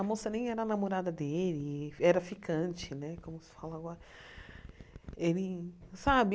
A moça nem era namorada dele, era ficante né, como se fala agora. Ele sabe